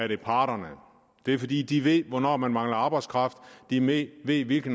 det er parterne det er fordi de ved hvornår man mangler arbejdskraft de ved hvilke